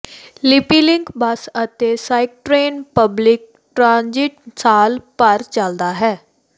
ਲਿਪੀਲਿੰਕ bus ਅਤੇ SkyTrain public transit ਸਾਲ ਭਰ ਚੱਲਦਾ ਹੈ